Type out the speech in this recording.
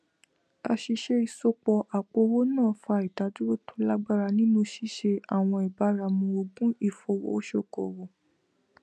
àṣìṣe ìsopọ àpòowó náà fa ìdádúró tó lágbára nínú ṣíṣe àwọn ìbáramu ogun ifowosokowo